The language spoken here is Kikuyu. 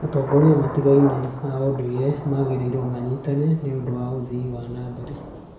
Atongoria matiganĩte a ũndũire magĩrĩirwo manyitane nĩũndũ wa ũthii wa na mbere